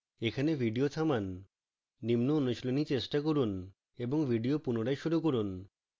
এখানে video থামান